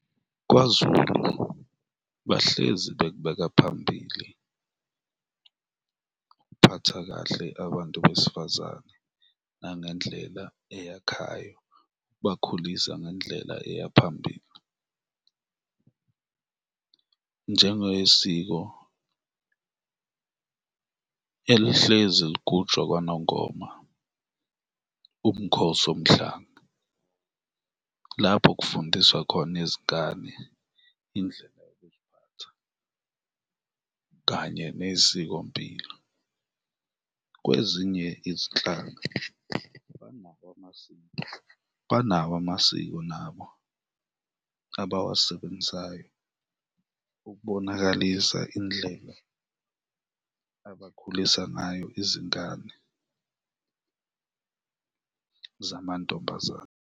KwaZulu bahlezi bekubeka phambili ukuphatha kahle abantu besifazane nangendlela eyakhayo, ukubakhulisa ngendlela eya phambili, njengesiko elihlezi ligujwa kwaNongoma, uMkhosi Womhlanga, lapho kufundiswa khona izingane indlela yokuziphatha kanye nesikompilo. Kwezinye izinhlaka banawo amasiko, banawo amasiko nabo abawasebenzisayo ukubonakalisa indlela abakhulisa ngayo izingane zamantombazana.